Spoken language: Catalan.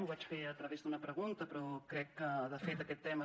ho vaig fer a través d’una pregunta però crec que de fet aquest tema